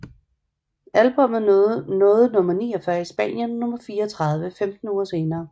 Albummet nåede nummer 49 i Spanien og nummer 34 femten uger senere